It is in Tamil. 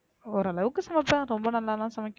ஓரளவுக்கு சமைபேன் ரொம்ப நல்லா எல்லாம் சமைக்க